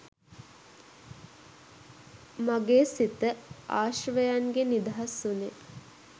මගේ සිත ආශ්‍රවයන්ගෙන් නිදහස් වුණේ.